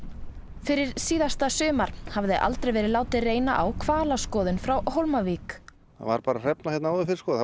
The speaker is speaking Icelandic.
fyrir síðasta sumar hafði aldrei verið látið reyna á hvalaskoðun frá Hólmavík það var bara hrefna hérna áður fyrr og